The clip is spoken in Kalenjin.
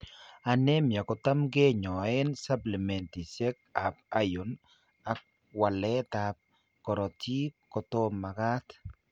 Anaemia kotam kinyoeen supplementisiek ab iron ak waleet ab korotik kotomakaat